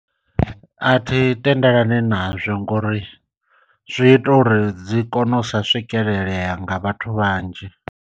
A thi tendelani nazwo ngori zwi ita uri dzi kone u sa swikelelea nga vhathu vhanzhi.